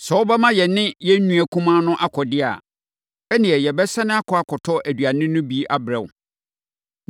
Sɛ wobɛma yɛne yɛn nua kumaa no akɔ deɛ a, ɛnneɛ, yɛbɛsane akɔ akɔtɔ aduane no bi abrɛ wo.